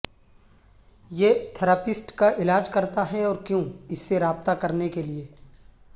یہ تھراپسٹ کا علاج کرتا ہے اور کیوں اس سے رابطہ کرنے کے لئے